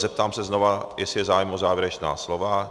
Zeptám se znovu, jestli je zájem o závěrečná slova.